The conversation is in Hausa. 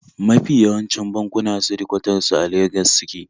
Mafi yawancin bankuna shedikwatar su a Legas suke